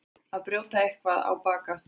Að brjóta eitthvað á bak aftur